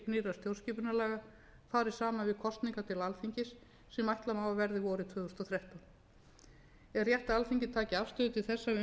nýrra stjórnarskipunarlaga fari saman við kosningar til alþingis sem ætla má að verði vorið tvö þúsund og þrettán er rétt að alþingi taki afstöðu til þessa við umfjöllun